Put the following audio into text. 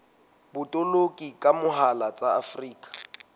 botoloki ka mohala tsa afrika